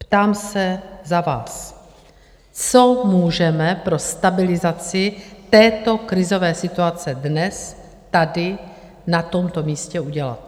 Ptám se za vás: Co můžeme pro stabilizaci této krizové situace dnes tady na tomto místě udělat?